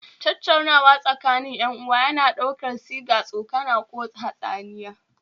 Tattaunawa tsakanin 'yan uwa yana ɗaukar sigar tsokana ko hatsaniya